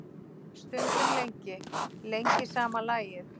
Stundum lengi, lengi sama lagið.